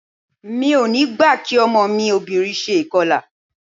Mi ò ní gbà kí ọmọ mi obìnrin ṣe ìkọlà.